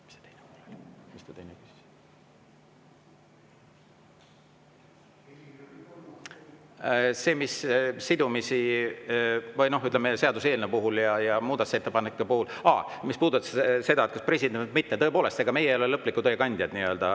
Mis puudutab seaduseelnõu muudatusettepanekute sidumist ja seda, kas president või mitte, siis tõepoolest, ega meie ei ole lõpliku tõe kandjad.